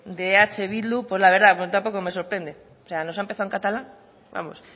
de eh bildu pues la verdad tampoco me sorprende o sea nos ha empezado en catalán vamos